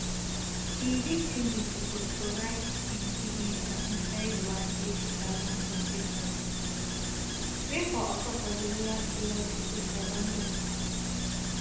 di victim bin suppose provide im kidney for inside one eighty thousand private transplant wey for occur for di royal free hospital for london